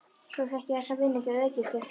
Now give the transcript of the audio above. Svo fékk ég þessa vinnu hjá öryggisgæslunni.